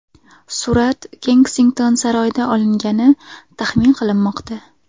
Surat Kensington saroyida olingani taxmin qilinmoqda.